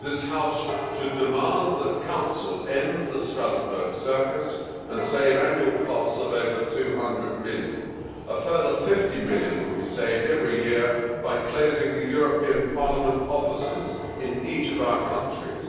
This House should demand that Council end the Strasbourg circus and save annual costs of over EUR 200 million. A further EUR 50 million would be saved every year by closing the European Parliament offices in each of our countries.